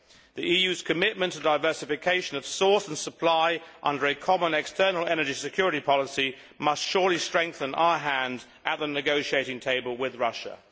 The EU's commitment to diversification of source and supply under a common external energy security policy must surely strengthen our hand at the negotiating table with Russia.